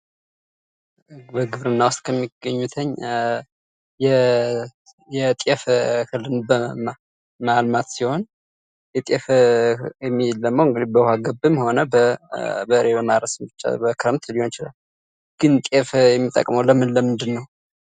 በግብርና ውስጥ ከሚገኙትኝ የጤፍ እህልን ማልማት ሲሆን የጤፍ እህል የሚለማው እንግዲህ በውሃ ገብም ሆነ በበሬ በማረስም ብቻ በክረምት ሊሆን ይችላል። ግን ጤፍ የሚጠቅመው ለምን ለምንድነው ?